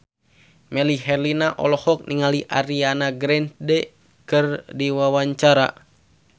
Melly Herlina olohok ningali Ariana Grande keur diwawancara